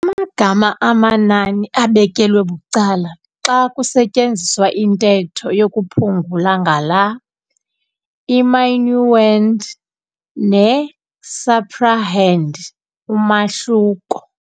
Amagama amanani abekelwe bucala xa kusetyenziswa intetho yokuphungula ngala, i-minuend - ne-subtrahend umahluko.